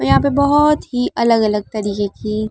यहाँ पर बहोत ही अलग-अलग तरीके की --